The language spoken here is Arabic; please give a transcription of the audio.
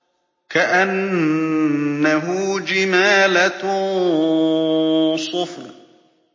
كَأَنَّهُ جِمَالَتٌ صُفْرٌ